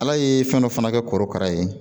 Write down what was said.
Ala ye fɛn dɔ fana kɛ korokara ye